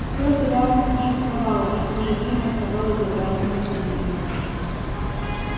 всё это реально существовало и в то же время оставалось за гранью повседневного